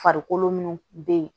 Farikolo minnu bɛ yen